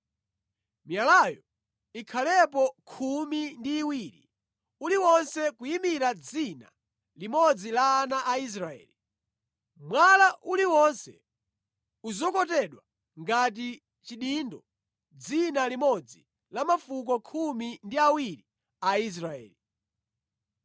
Miyalayo ikhalepo khumi ndi iwiri, uliwonse kuyimira dzina limodzi la ana a Israeli. Mwala uliwonse uzokotedwe ngati chidindo dzina limodzi la mafuko khumi ndi awiri a Israeli.